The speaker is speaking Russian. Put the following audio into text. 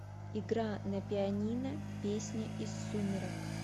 игра на пианино песня из сумерок